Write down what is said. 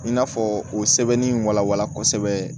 I n'a fɔ o sɛbɛn in walawala kosɛbɛ